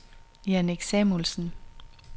Jannik Samuelsen